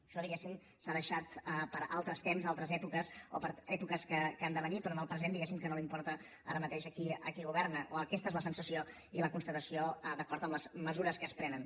això diguéssim s’ha deixat per a altres temps altres èpoques o per a èpoques que han de venir però en el present diguéssim que no li importa ara mateix aquí a qui governa o aquesta és la sensació i la constatació d’acord amb les mesures que es prenen